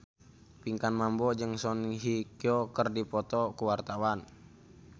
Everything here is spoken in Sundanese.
Pinkan Mambo jeung Song Hye Kyo keur dipoto ku wartawan